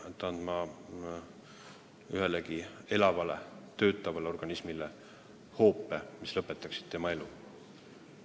Ma ei ole valmis andma ühelegi elavale, toimivale organismile hoopi, mis lõpetaks tema elu.